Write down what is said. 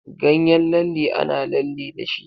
Ganyen lalle ana lalle dashi.